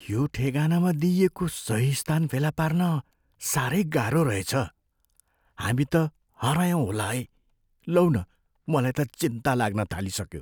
यो ठेगानामा दिइएको सही स्थान फेला पार्न साह्रै गाह्रो रहेछ। हामी त हरायौँ होला है! लौ न, मलाई त चिन्ता लाग्न थालिसक्यो।